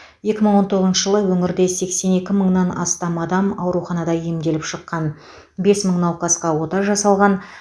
екі мың он тоғызыншы жылы өңірде сексен екі мыңнан астам адам ауруханада емделіп шыққан бес мың науқасқа ота жасалған